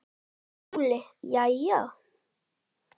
SKÚLI: Jæja!